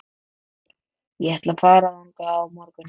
Ég ætla að fara þangað á morgun.